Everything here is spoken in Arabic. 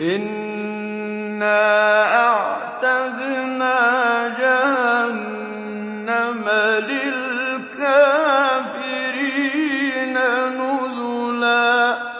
إِنَّا أَعْتَدْنَا جَهَنَّمَ لِلْكَافِرِينَ نُزُلًا